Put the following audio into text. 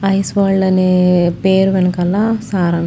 ice world అనే పేరు వెనకాల సారాం--